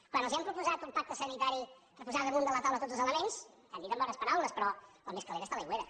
quan els hem proposat un pacte sanitari per posar damunt de la taula tots els elements ens ho han dit amb bones paraules però el més calent està a l’aigüera